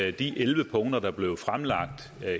af de elleve punkter der blev fremlagt